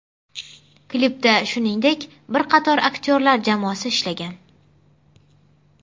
Klipda shuningdek, bir qator aktyorlar jamoasi ishlagan.